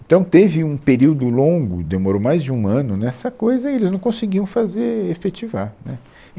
Então teve um período longo, demorou mais de um ano nessa coisa e eles não conseguiam fazer efetivar, né